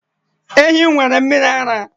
Ehi m nwere mmiri ara